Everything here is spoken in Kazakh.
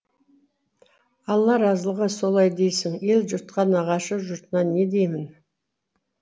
алла разылығы солай дейсің ел жұртқа нағашы жұртына не деймін